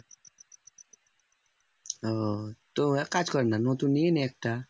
ও তো এক কাজ করনা নতুন নিয়ে নে একটা।